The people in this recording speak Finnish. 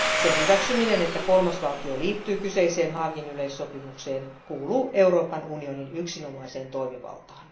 Sen hyväksyminen, että kolmas valtio liittyy kyseiseen Haagin yleissopimukseen, kuuluu Euroopan unionin yksinomaiseen toimivaltaan.